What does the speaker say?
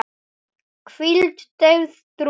hvíld, deyfð, drungi